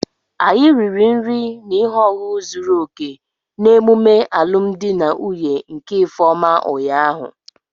Anyi riri nri na ihe ọṅụṅụ zuru oke n'emume alụmdi na nwunye nke ifeoma ụnyahụ